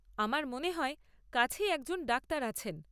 আমার মনে হয় কাছেই একজন ডাক্তার আছেন।